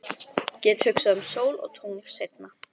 Get hugsað um sól og tungl seinna.